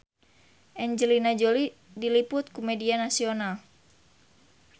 Angelina Jolie diliput ku media nasional